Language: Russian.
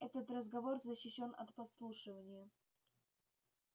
этот разговор защищён от подслушивания